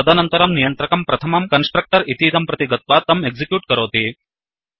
तदनन्तरं नियन्त्रकः प्रथमं कन्स्ट्रक्टर् इतीदं प्रति गत्वा तं एक्सिक्यूट् करोति